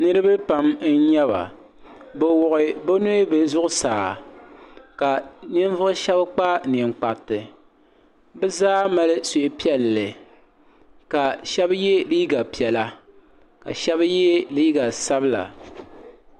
niriba pam n nyɛba bɛ wuɣi bɛ nuhi zuɣusaa ka ninvuɣu shɛba kpa ninkparti bɛ zaa mali suhupiɛlli ka shɛba ye liiga piɛla ka shɛba ye liiga sabla.